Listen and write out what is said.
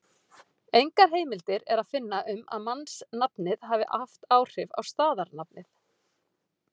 Engar heimildir er að finna um að mannsnafnið hafi haft áhrif á staðarnafnið.